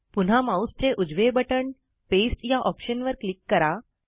पुन्हा माऊसचे उजवे बटण दाबून नंतर पास्ते या ऑप्शनवर क्लिक करा